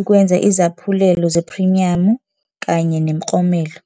ukwenza izaphulelo zephrimiyamu kanye nemiklomelo.